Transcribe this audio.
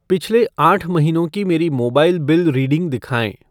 पिछले आठ महीनों की मेरी मोबाइल बिल रीडिंग दिखाएँ।